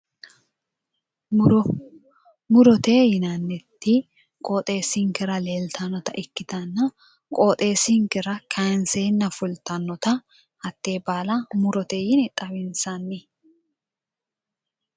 Muro murote yinanniti qooxesinikkera leelitannota ikkitana qooxeessinikera kayinseena fulittanita hatee baala murote yine xawinisanni